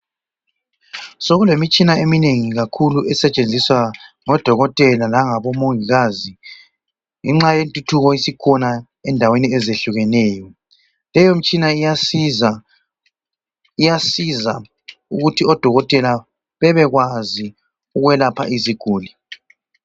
Sokulemitshina eminengi kakhulu esetshenziswa ngodokotela langabomongikazi ngenxa yentuthuko esikhona endaweni ezehlukeneyo leyo mtshina iyasiza ukuthi odokotela bebekwazi ukwelapha iziguli.